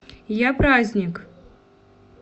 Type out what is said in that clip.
япраздник